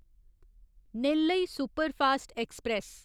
Nellai superfast express